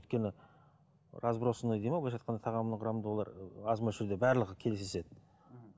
өйткені разбросанный дейді ме былайша айтқанда тағамның құрамында олар аз мөлшерде барлығы кездеседі мхм